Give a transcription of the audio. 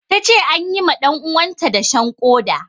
Ta ce an yi ma ɗanuwanta dashen ƙoda.